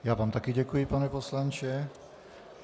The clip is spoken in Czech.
Já vám také děkuji, pane poslanče.